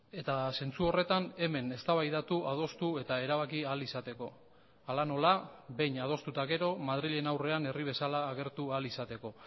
eta zentzu horretan hemen eztabaidatu adostu eta erabaki ahal izateko hala nola behin adostu eta gero madrilen aurrean herri bezala agertu ahal izateko